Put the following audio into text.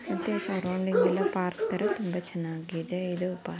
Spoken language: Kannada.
ಪಾರ್ಕ್ ತಾರಾ ತುಂಬಾ ಚೆನಾಗಿದೆ.